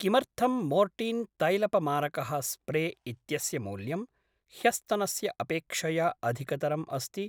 किमर्थं मोर्टीन् तैलपमारकः स्प्रे इत्यस्य मूल्यं ह्यस्तनस्य अपेक्षया अधिकतरम् अस्ति?